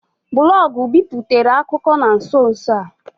Blọọgụ biputere akụkọ na nso nso a.